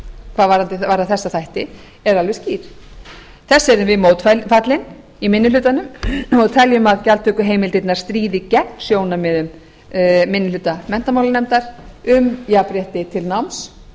hvað varðar þessa þætti eru alveg skýr þessu erum við mótfallin í minni hlutanum og teljum að gjaldtökuheimildirnar stríði gegn sjónarmiðum minni hluta menntamálanefndar um jafnrétti til náms